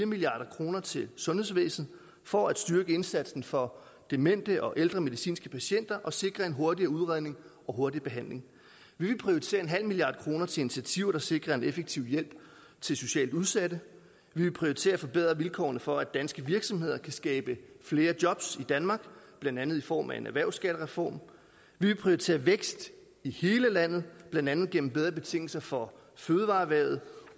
milliard kroner til sundhedsvæsenet for at styrke indsatsen for demente og ældre medicinske patienter og sikre en hurtigere udredning og hurtigere behandling vi vil prioritere nul milliard kroner til initiativer der sikrer en effektiv hjælp til socialt udsatte vi vil prioritere at forbedre vilkårene for at danske virksomheder kan skabe flere job i danmark blandt andet i form af en erhvervsskattereform vi vil prioritere vækst i hele landet blandt andet gennem bedre betingelser for fødevareerhvervet